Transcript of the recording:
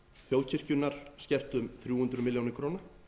þjóðkirkjunnar skert um þrjú hundruð milljóna króna